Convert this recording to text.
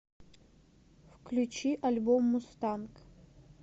включи альбом мустанг